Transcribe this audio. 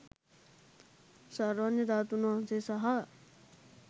සර්වඥ ධාතූන් වහන්සේ සහ